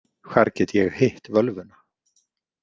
Hvar get ég hitt völvuna?